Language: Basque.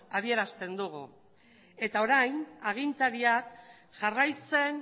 adierazten dugu eta orain agintaria jarraitzen